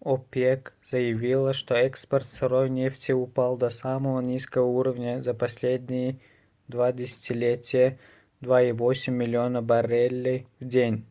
опек заявила что экспорт сырой нефти упал до самого низкого уровня за последние два десятилетия - 2,8 миллиона баррелей в день